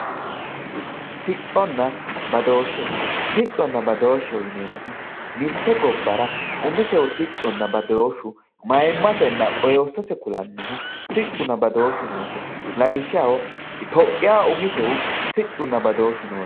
sicconna badooshe sicconna badoosheho yineemohu mitte gobbara umisehu sicconna badooshu maymasenna qoosose kulannohu siccunna badooshu noose itophiyaaho umisehu siccunna badooshu noose.